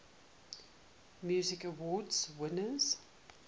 music awards winners